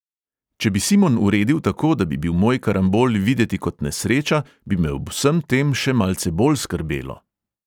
"Če bi simon uredil tako, da bi bil moj karambol videti kot nesreča, bi me ob vsem tem še malce bolj skrbelo."